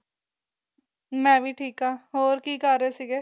ਮੈਂ ਵੀ ਠੀਕ ਆ ਹੋਰ ਕੀ ਕਰ ਰਹੇ ਸੀਗੇ